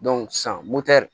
sisan motɛ